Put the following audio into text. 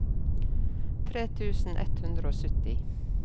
tre tusen ett hundre og sytti